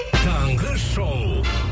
таңғы шоу